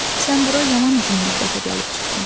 Sən bura yaman uzun müddətə gəlib çıxdın.